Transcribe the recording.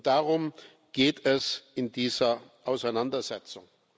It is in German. Darum geht es in dieser Auseinandersetzung.